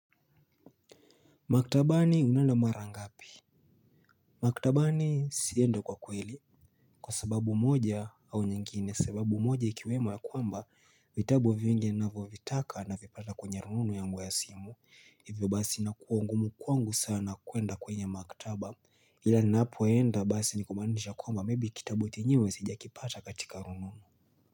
Maktabani unaenda mara ngapi? Maktabani siendi huko kweli. Kwa sababu moja au nyingine. Sababu moja ikiwemo ya kwamba vitabu vingi navyo vitaka navipata kwenye rununu yangu ya simu. Hivyo basi nakuwa ngumu kwangu sana kuenda kwenye maktaba. Hila napoenda basi nikumaanisha kwamba maybe kitabu chenyewe sijakipata katika rununu.